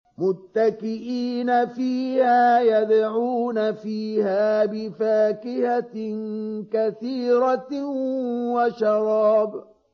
مُتَّكِئِينَ فِيهَا يَدْعُونَ فِيهَا بِفَاكِهَةٍ كَثِيرَةٍ وَشَرَابٍ